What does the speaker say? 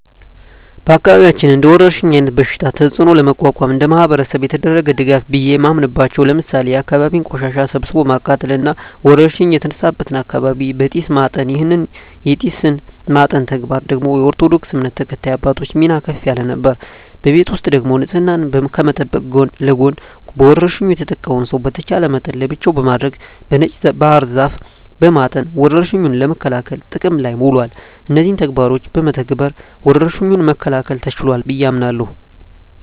በአካባቢያችን እንደወረርሽኝ አይነት በሽታ ተጽኖ ለመቋቋም እንደማህበረሰብ የተደረገ ድጋፍ ቢየ ማምናበቻው ለምሳሌ የአካባቢን ቆሻሻ ሰብስቦ ማቃጠል እና ወረርሽኝ የተነሳበትን አካባቢ በጢስ ማጠን ይህን የጢስ ማጠን ተግባር ደግሞ የኦርቶዶክስ እምነት ተከታይ አባቶች ሚና ከፍ ያለ ነበር። በቤት ውስጥ ደግሞ ንጽህናን ከመጠበቅ ጎን ለጎን በወርሽኙ የተጠቃውን ሰው በተቻለ መጠን ለብቻው በማድረግ በነጭ ባህር ዛፍ በማጠን ወረርሽኙን ለመከላከል ጥቅም ላይ ውሏል። እነዚህን ተግባሮች በመተግበር ወረርሽኙን መከላከል ተችሏል ብየ አምናለሁ።